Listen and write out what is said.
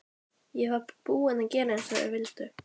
Ég var búin að gera eins og þeir vildu.